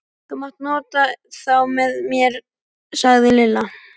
Þú mátt nota þá með mér sagði Lilla.